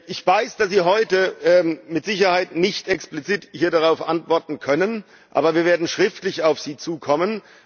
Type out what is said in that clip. Ich weiß, dass Sie heute mit Sicherheit nicht explizit hier darauf antworten können, aber wir werden schriftlich auf Sie zukommen.